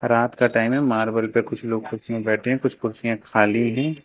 रात का टाइम है मार्बल पे कुछ लोग कुर्सियां बैठे हैं कुछ कुर्सियां खाली हैं।